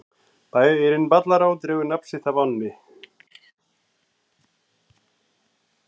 Bærinn Ballará dregur nafn sitt af ánni.